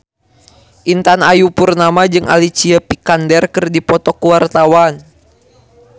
Intan Ayu Purnama jeung Alicia Vikander keur dipoto ku wartawan